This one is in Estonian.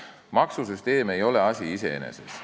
Maksusüsteem ei ole asi iseeneses.